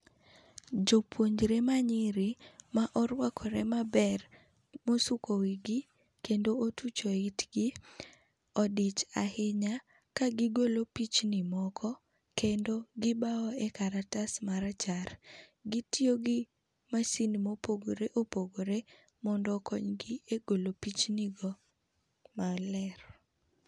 Jopuonjre ma nyiri ma orwakre maber, mo osuko wigi ,kendo ma otucho itgi odich ahinya ka gi golo pichni moko kendo gi bao e karatas ma rachar. Gi tiyo gi masin ma opogore opogore mondo okony gi e golo pichni go maler .